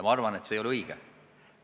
Ma arvan, et see ei ole õige.